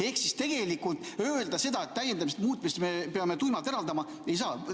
Ehk siis tegelikult öelda seda, et täiendamist-muutmist me peame tuimalt eraldama, ei saa.